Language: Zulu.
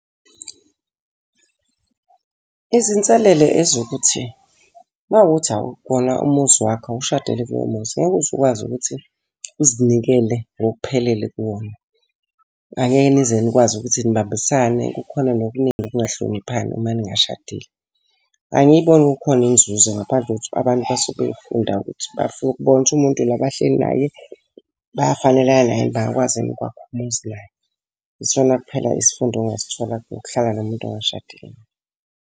Izinselele ezokuthi, uma kuwukuthi akuwona umuzi wakho, awushadele kulowo muzi, ngeke uze ukwazi ukuthi uzinikele ngokuphelele kuwona. Angeke nize nikwazi ukuthi nibambisane kukhona nokuningi ukungahloniphani uma ningashadile. Angiyiboni kukhona inzuzo ngaphandle kokuthi abantu basuke befunda ukuthi bafuna ukubona ukuthi umuntu lo abahleli naye, bayafanelana yini bangakwazi ukwakha umuzi naye. Yisona kuphela isifundo ongasithola ngokuhlala nomuntu ongashadile naye.